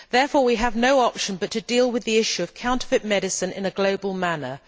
Therefore, we have no option but to deal with the issue of counterfeit medicine in a global manner.